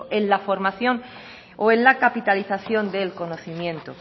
en la formación o en la capitalización del conocimiento